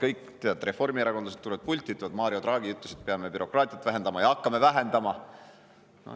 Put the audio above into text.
Kõik seda teavad, reformierakondlased tulevad pulti, ütlevad, et Mario Draghi ütles, et peame bürokraatiat vähendama, ja hakkamegi vähendama.